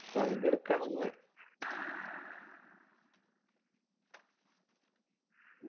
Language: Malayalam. വണ്ടി എട്ക്കണം ന്ന്